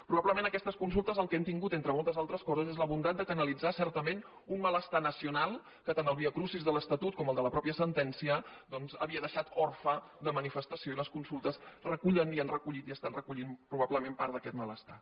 probablement aquestes consultes el que han tingut entre moltes altres coses és la bondat de canalitzar certament un malestar nacional que tant el viacrucis de l’estatut com el de la mateixa sentència doncs havien deixat orfe de manifestació i les consultes recullen i han recollit i estan recollint probablement part d’aquest malestar